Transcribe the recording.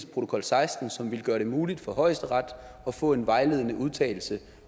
protokol seksten som ville gøre det muligt for højesteret at få en vejledende udtalelse